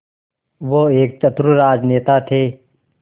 वो एक चतुर राजनेता थे